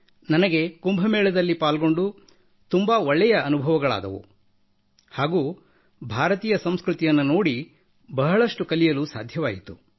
ನನಗೆ ಕುಂಭಮೇಳದಲ್ಲಿ ಪಾಲ್ಗೊಂಡು ತುಂಬಾ ಒಳ್ಳೆಯ ಅನುಭವಗಳಾದವುಹಾಗೂ ಭಾರತೀಯ ಸಂಸ್ಕøತಿಯನ್ನು ನೋಡಿ ಬಹಳಷ್ಟು ಕಲಿಯಲು ಸಾಧ್ಯವಾಯಿತು